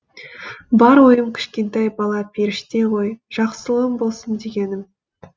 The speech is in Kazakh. бар ойым кішкентай бала періште ғой жақсылығым болсын дегенім